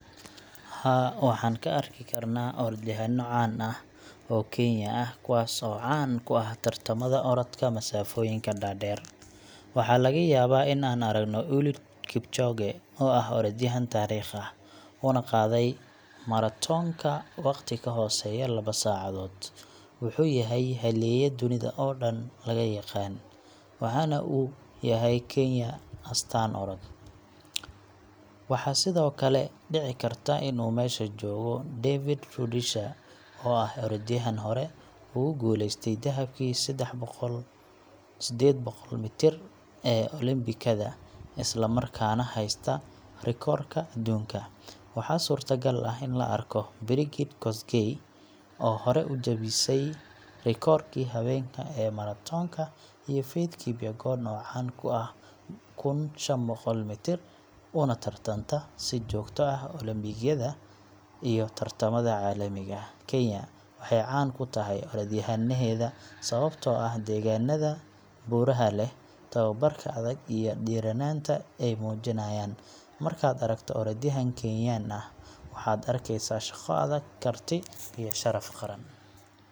Halkan waxaan ka arki karnaa orodyahanno caan ah oo Kenyan ah kuwaasoo caan ku ah tartamada orodka masaafooyinka dhaadheer. Waxaa laga yaabaa in aan aragno Eliud Kipchoge, oo ah orodyahan taariikhi ah, una qaaday maratoonka waqti ka hooseeya laba saacadood. Wuxuu yahay halyey dunida oo dhan laga yaqaan, waxaana uu u yahay Kenya astaan orod. Waxaa sidoo kale dhici karta in uu meesha joogo David Rudisha, oo ah orodyahan hore ugu guuleystay dahabkii sedded boqol mitir ee Olombikada, isla markaana haysta rikoodhka adduunka. Waxaa suurtagal ah in la arko Brigid Kosgei, oo hore u jabisay rikoodhkii haweenka ee maratoonka, iyo Faith Kipyegon oo caan ku ah kun iyo shan boqol mitir, una tartanta si joogto ah Olombikada iyo tartamada caalamiga ah. Kenya waxay caan ku tahay orodyahannadeeda sababtoo ah deegaannada buuraha leh, tababarka adag, iyo dhiirranaanta ay muujiyaan. Markaad aragto orodyahan Kenyan ah, waxaad arkeysaa shaqo adag, karti iyo sharaf qaran.